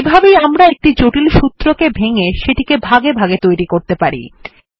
এভাবেই আমরা একটি জটিল সূত্রকে ভেঙ্গে সেটিকে ভাগে ভাগে তৈরী করতে পারি